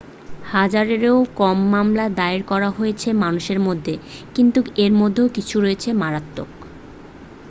হাজারেরও কম মামলা দায়ের করা হয়েছে মানুষের মধ্যে কিন্তু এর মধ্যে কিছু রয়েছে মারাত্মক